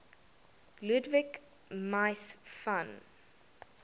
ludwig mies van